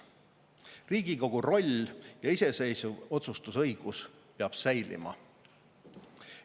Riigikogu roll ja iseseisev otsustusõigus peab säilima.